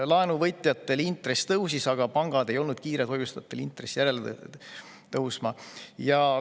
Laenuvõtjatel intress tõusis, aga pangad ei olnud kiired hoiuste intressi järele tõstma.